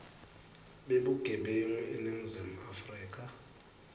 bebugebengu eningizimu afrika